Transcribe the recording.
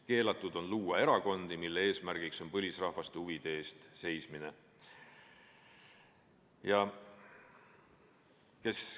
Keelatud on luua erakondi, mille eesmärk on põlisrahvaste huvide eest seismine.